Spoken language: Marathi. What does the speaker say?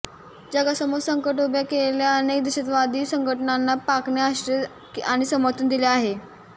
जगासमोर संकट उभ्या केलेल्या अनेक दहशतवादी संघटनांना पाकने आश्रय आणि समर्थन दिले आहे